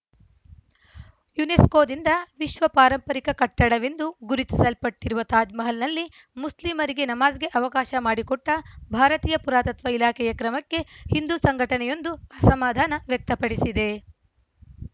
ಯುನೆಸ್ಕೋದಿಂದ ವಿಶ್ವ ಪಾರಂಪರಿಕ ಕಟ್ಟಡವೆಂದು ಗುರುತಿಸಲ್ಪಟ್ಟಿರುವ ತಾಜ್‌ಮಹಲ್‌ನಲ್ಲಿ ಮುಸ್ಲಿಮರಿಗೆ ನಮಾಜ್‌ಗೆ ಅವಕಾಶ ಮಾಡಿಕೊಟ್ಟಭಾರತೀಯ ಪುರಾತತ್ವ ಇಲಾಖೆಯ ಕ್ರಮಕ್ಕೆ ಹಿಂದೂ ಸಂಘಟನೆಯೊಂದು ಅಸಮಾಧಾನ ವ್ಯಕ್ತಪಡಿಸಿದೆ